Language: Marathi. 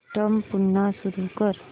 सिस्टम पुन्हा सुरू कर